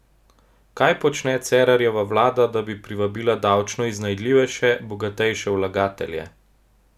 Kaj počne Cerarjeva vlada, da bi privabila davčno iznajdljivejše, bogatejše vlagatelje?